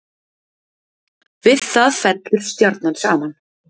Við það fellur stjarnan saman.